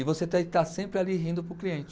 E você tá e está sempre ali rindo para o cliente.